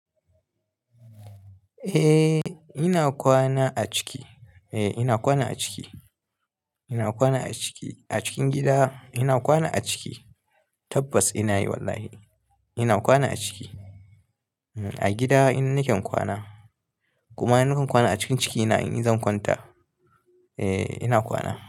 Eh ina kwana a ciki. Eh ina kwana a ciki. Ina kwana a ciki. A cikin gida ina kwana a ciki. Tabbas ina yi wallahi. Ina kwana a ciki. A gida in naken kwana. Kuma in nakan kwana a cikin ciki ina in zan kwanta. Eh ina kwana.